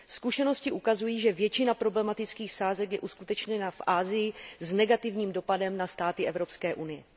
Zkušenosti ukazují, že většina problematických sázek je uskutečněna v Asii s negativním dopadem na státy Evropské unie.